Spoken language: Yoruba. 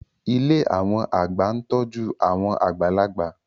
Ilé àwọn àgbà ń tọ́jú àwọn àgbàlagbà